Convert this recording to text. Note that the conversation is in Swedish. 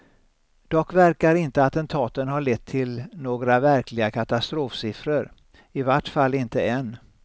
Dock verkar inte attentaten ha lett till några verkliga katastrofsiffror, i vart fall inte än.